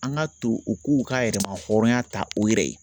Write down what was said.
An ka to u k'u ka yɛrɛmahɔrɔnya ta u yɛrɛ ye